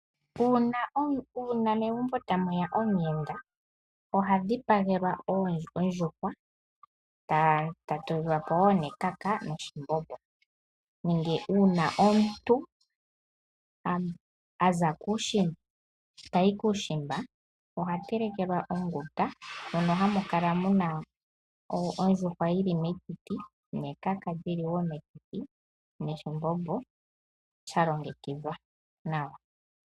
Una megumbo ta muya omuyenda oha dhipagelwa ondjuhwa eta tulilwapo ekaka noshimbombo, nenge omuntu ta yi kUushimba oha telekelwa onguta mono hamu kala muna ondjuhwa oshowo ekaka li li metiti noshimbombo sha longekidhwa nawa.